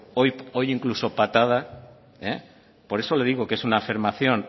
hoy incluso patada por eso le digo que es una afirmación